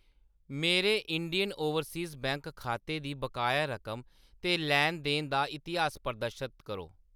मेरे Indian Overseas Bank खाते दी बकाया रकम ते लैन-देन दा इतिहास प्रदर्शत करो।